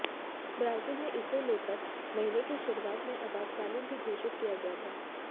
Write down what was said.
Brazil में इसे लेकर महीने की शुरुआत में आपातकाल भी घोषित किया गया था